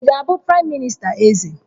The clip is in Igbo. Ị ga-abụ praịm minista Eze?